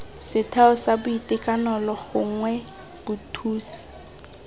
setheo sa boitekanelo gongwe bothusi